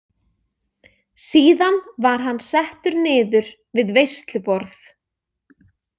Síðan var hann settur niður við veisluborð.